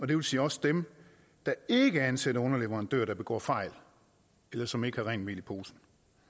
det vil sige også dem der ikke ansætter underleverandører der begår fejl eller som ikke har rent mel i posen